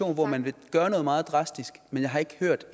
hvor man vil gøre noget meget drastisk men jeg har ikke hørt